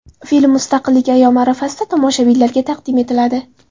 Film Mustaqillik ayyomi arafasida tomoshabinlarga taqdim etiladi.